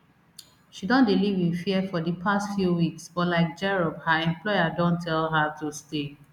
she don dey live in fear for di past few weeks but like jerop her employer don tell her to stay